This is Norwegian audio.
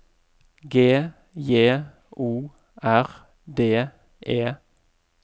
G J O R D E